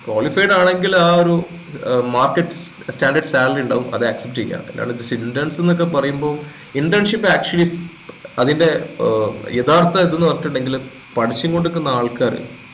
qualified ആണെങ്കിൽ ആ ഒരു ഏർ market standard salary ഇണ്ടാവും അത് accept ചെയ്യാ അല്ലാണ്ട് interns ക്കെ പറയുമ്പോ internship actually അതിന്റെ ഏർ യഥാർത്ഥ ഇത് ന്നു പറഞ്ഞിട്ട്ണ്ടെങ്കില് പഠിച്ചുംകൊണ്ടിക്കുന്ന ആള്ക്കാര്